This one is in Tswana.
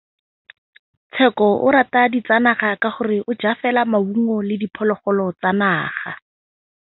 Tshekô o rata ditsanaga ka gore o ja fela maungo le diphologolo tsa naga.